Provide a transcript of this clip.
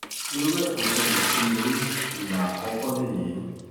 irú ẹ̀ kò ṣẹlẹ̀ sí mi rí ìgbà àkọ́kọ́ lèyí